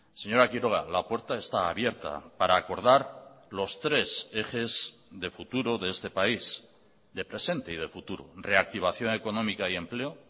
señora quiroga la puerta está abierta para acordar los tres ejes de futuro de este país de presente y de futuro reactivación económica y empleo